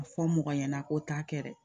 A fɔ mɔgɔ ɲɛna ko t'a kɛ dɛ